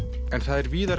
er víðar